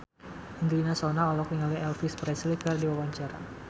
Angelina Sondakh olohok ningali Elvis Presley keur diwawancara